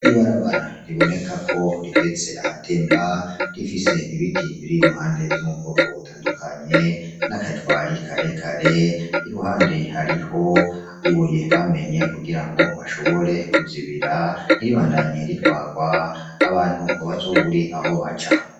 Ibarabara riboneka ko rigeze ahatemba rifise ibiti biri iruhande vyo mu bwoko butandukanye n'akajwari karekare, iruhande hariho ibuye bamenye kugira bashobore kuzibira ntiribandanye ritwarwa ngo abantu ntibazobure aho baca.